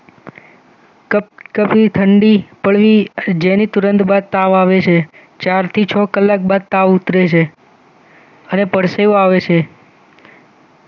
કભી ઠંડી પડવી જેની તુરંત બાદ તાવ આવે છે ચારથી છ કલાક બાદ તાવ ઉતરે છે અને પરસેવો આવે છે.